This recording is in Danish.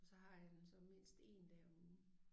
Og så har jeg dem så mindst 1 dag om ugen